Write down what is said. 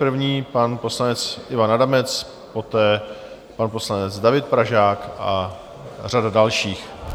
První pan poslanec Ivan Adamec, poté pan poslanec David Pražák a řada dalších.